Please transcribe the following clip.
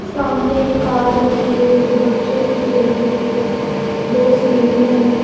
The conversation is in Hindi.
सामने एक कार रखी है जो बच्चों की खेलने की है दो सीढ़ियां हैं।